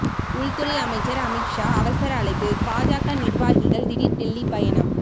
உள்துறை அமைச்சர் அமித்ஷா அவசர அழைப்பு பாஜக நிர்வாகிகள் திடீர் டெல்லி பயணம்